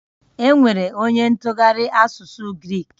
Enwere onye ntụgharị asụsụ Grik?